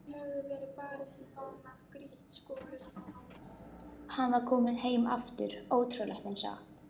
Hann var kominn heim aftur, ótrúlegt en satt!